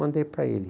Mandei para ele.